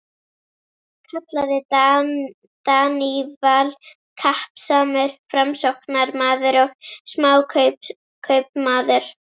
kallaði Daníval, kappsamur Framsóknarmaður og smákaupmaður.